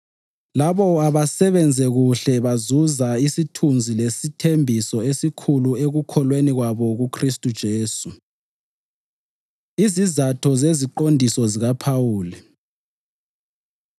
Labo abasebenze kuhle bazuza isithunzi lesithembiso esikhulu ekukholweni kwabo kuKhristu uJesu. Izizatho Zeziqondiso ZikaPhawuli